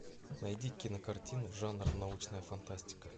найди кинокартину жанр научная фантастика